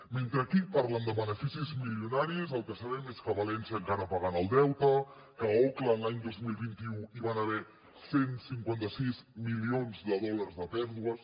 mentre aquí parlen de beneficis milionaris el que sabem és que a valència encara paguen el deute que a auckland l’any dos mil vint u hi van haver cent i cinquanta sis milions de dòlars de pèrdues